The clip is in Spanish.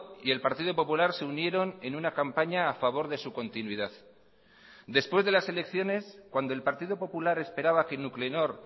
y el partido popular se unieron en una campaña a favor de su continuidad después de las elecciones cuando el partido popular esperaba que nuclenor